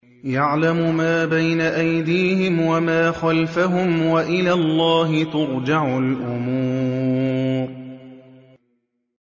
يَعْلَمُ مَا بَيْنَ أَيْدِيهِمْ وَمَا خَلْفَهُمْ ۗ وَإِلَى اللَّهِ تُرْجَعُ الْأُمُورُ